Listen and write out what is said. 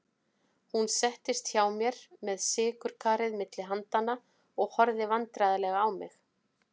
Hún settist hjá mér með sykurkarið milli handanna og horfði vandræðaleg á mig.